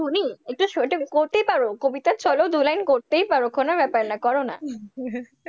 একটু শুনি, একটু করতেই পারো, কবিতার ছলেও দুলাইনে করতেই পারো, কোন ব্যাপার না করো না।